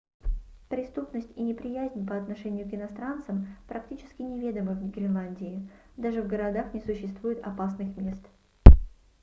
преступность и неприязнь по отношению к иностранцам практически неведомы в гренландии даже в городах не существует опасных мест